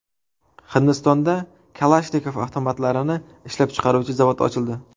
Hindistonda Kalashnikov avtomatlarini ishlab chiqaruvchi zavod ochildi.